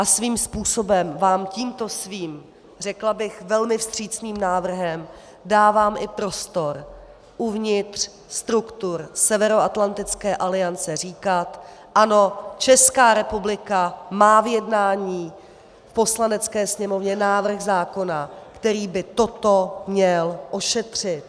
A svým způsobem vám tímto svým, řekla bych, velmi vstřícným návrhem dávám i prostor uvnitř struktur Severoatlantické aliance říkat ano, Česká republika má v jednání v Poslanecké sněmovně návrh zákona, který by toto měl ošetřit.